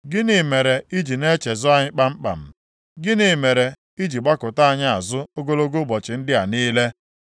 Gịnị mere i ji na-echezọ anyị kpamkpam? Gịnị mere i ji gbakụta anyị azụ ogologo ụbọchị ndị a niile?